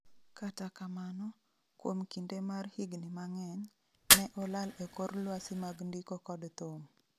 kata kamano, kuom kinde mar higni mang'eny ,ne olal e kor lwasi mag ndiko kod thum